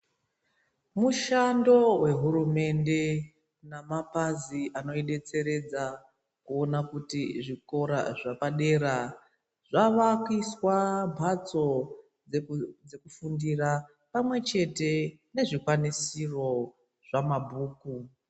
Mushando wehurumende nemapazi anoidetseredza kuona kuti zvikora zvepadera zvavakiswa mhatso dzekufundira pamwechete nezvikwanisiro zvamabhuku.